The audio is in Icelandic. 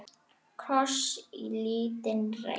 Kross í lítinn reit.